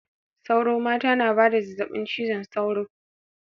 Sauro mata na ba da zazzabin cizon sauro.